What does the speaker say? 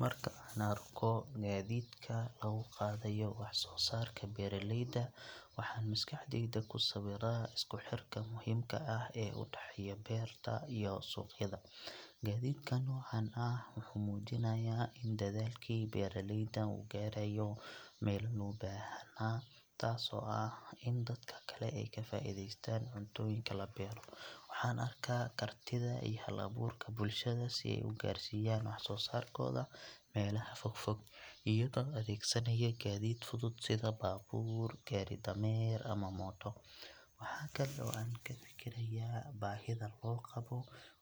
Marka aan arko gaadiidka lagu qaadayo waxsoosaarka beeraleyda, waxaan maskaxdayda ku sawiraa isku xirka muhiimka ah ee u dhexeeya beerta iyo suuqyada. Gaadiidka noocaan ah wuxuu muujinayaa in dadaalkii beeraleyda uu gaarayo meel loo baahnaa, taasoo ah in dadka kale ay ka faa’iidaystaan cuntooyinka la beero. Waxaan arkaa kartida iyo hal-abuurka bulshada si ay u gaarsiiyaan waxsoosaarkooda meelaha fog fog, iyagoo adeegsanaya gaadiid fudud sida baabuur, gaari-dameer ama mooto. Waxa kale oo aan ka fikirayaa baahida loo qabo